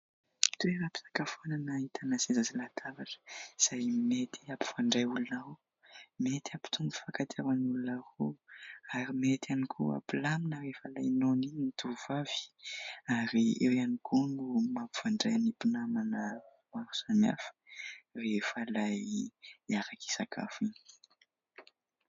Toeram-pisakafoanana ahitana seza sy latabatra, izay mety hampifandray olona ao, mety hampitombo fifankatiavan'ny olona roa ary mety ihany koa hampilamina rehefa ilay noana iny ny tovovavy ary eo ihany koa no mampifandray ny mpinamana maro samihafa rehefa ilay hiaraka hisakafo iny.